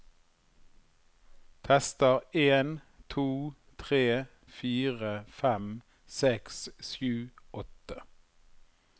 Tester en to tre fire fem seks sju åtte